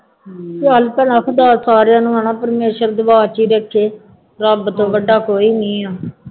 ਚੱਲ ਭਲਾ ਸਾਰਿਆਂ ਨੂੰ ਹੈ ਨਾ ਪਰਮੇਸ਼ਰ ਦੇਖੇ ਰੱਬ ਤੋਂ ਵੱਡਾ ਕੋਈ ਨਹੀਂ ਹੈ